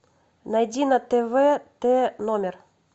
найди на тв тномер